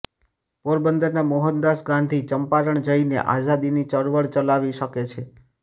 પોરબંદરના મોહનદાસ ગાંધી ચંપારણ જઇને આઝાદીની ચળવળ ચલાવી શકે છે